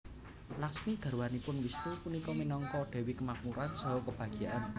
Lakhsmi garwanipun Wisnu punika minangka dewi kemakmuran saha kebahagiaan